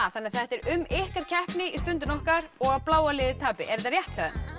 þannig að þetta er um ykkar keppni í Stundinni okkar og að bláa liðið tapi er þetta rétt hjá